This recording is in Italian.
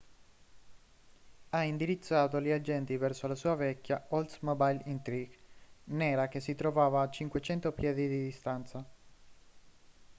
ha indirizzato gli agenti verso la sua vecchia oldsmobile intrigue nera che si trovava a 500 piedi di distanza